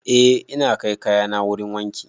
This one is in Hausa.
Eh ina kai kayana wurin wanki